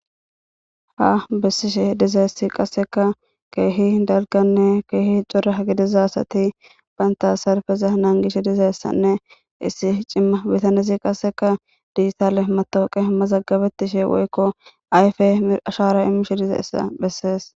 ha bessishe dizayessi qasseka keehi dalganne keehi cora gidiza sati baynta sarbeza naangishe dizayessanne issi cimma bitanesi qasseka diissale matooqe mazaggabettishe woykko ayfe ashara imishe diza issa bessees